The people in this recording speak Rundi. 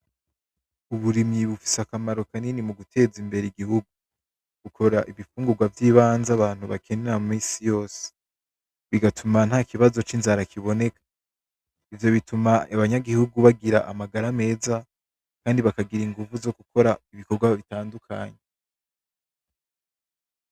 Uburimyi bufise akamaro kanini muguteza imbere igihugu bukora ibigungurwa vyibanze abantu banera misiyose bigatuma ntakibazo c’inzara kiboneka bigatuma abanyaguhugu bagira amagara meza kandi bakagira inguvu zo gukora ibikorwa bitandukanye.